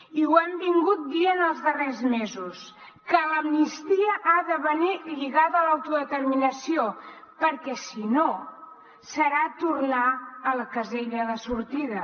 i ho hem dit els darrers mesos que l’amnistia ha de venir lligada a l’autodeterminació perquè si no serà tornar a la casella de sortida